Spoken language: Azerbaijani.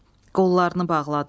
Qollarını bağladılar.